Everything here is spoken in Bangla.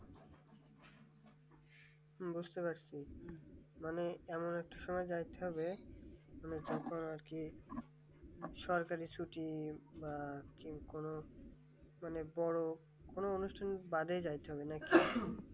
বুঝতে পারছি মানে একটা সময় যাচ্ছে যে মানে তখন আর কি সরকারি ছুটি বা কি কোন বড় কোন অনুষ্ঠান বাদে যায় তো নাকি